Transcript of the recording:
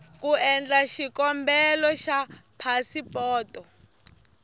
ku endla xikombelo xa phasipoto